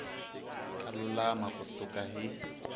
ta lulama ku suka hi